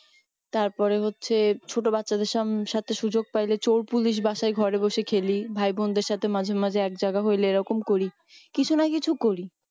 তার পরে হচ্ছে ছোট বাচ্চা দেড় সং সাথে সুযোগ পেলে চোর police বাসায় ঘরে বসে খেলি ভাই বোন দেড় সাথে মাঝে মাঝে একজায়গা হলে এই রকম করি কিছু না কিছু করি।